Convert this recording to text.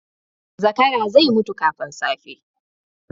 Zakara zai mutu kafin safe.